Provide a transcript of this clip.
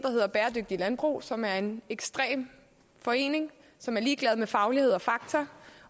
der landbrug som er en ekstrem forening som er ligeglad med faglighed og fakta